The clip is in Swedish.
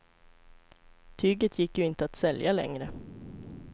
Tyget gick ju inte att sälja längre.